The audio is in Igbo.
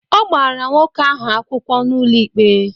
Ọ gbara nwoke ahụ akwụkwọ n'ụlọ ikpe.